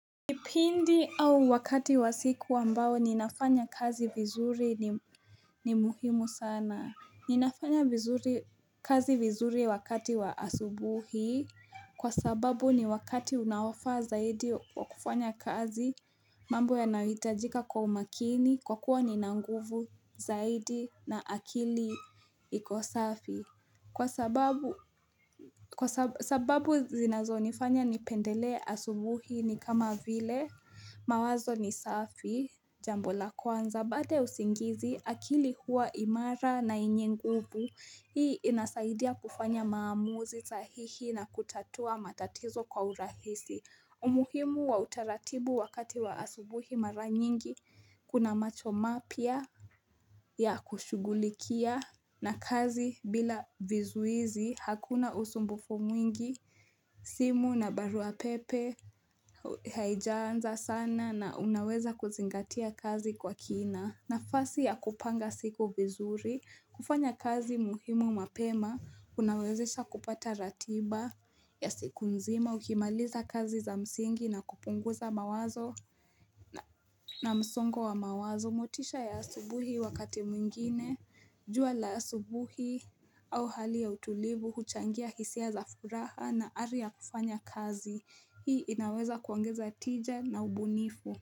Kipindi au wakati wa siku ambao ninafanya kazi vizuri ni muhimu sana. Ninafanya kazi vizuri wakati wa asubuhi kwa sababu ni wakati unaofaa zaidi wa kufanya kazi, mambo yanayohitajika kwa umakini kwa kuwa nina nguvu zaidi na akili iko safi. Kwa sababu zinazonifanya nipendelee asubuhi ni kama vile mawazo ni safi, jambo la kwanza, baada ya usingizi akili huwa imara na yenye nguvu. Hii inasaidia kufanya maamuzi sahihi na kutatua matatizo kwa urahisi. Umuhimu wa utaratibu wakati wa asubuhi mara nyingi kuna macho mapya ya kushughulikia na kazi bila vizuizi. Hakuna usumbufu mwingi. Simu na barua pepe haijaanza sana na unaweza kuzingatia kazi kwa kina. Nafasi ya kupanga siku vizuri. Kufanya kazi muhimu mapema kunawezesha kupata ratiba ya siku nzima, ukimaliza kazi za msingi na kupunguza mawazo na msongo wa mawazo. Motisha ya asubuhi wakati mwingine, jua la asubuhi au hali ya utulivu huchangia hisia za furaha na ari ya kufanya kazi. Hii inaweza kuongeza tija na ubunifu.